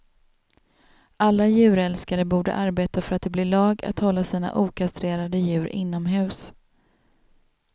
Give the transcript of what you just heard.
Alla djurälskare borde arbeta för att det blir lag att hålla sina okastrerade djur inomhus.